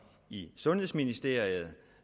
i sundhedsministeriet